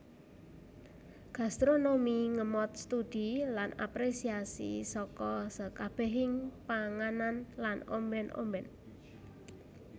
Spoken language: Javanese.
Gastronomi ngemot studi lan apresiasi saka sekabehing panganan lan ombèn ombèn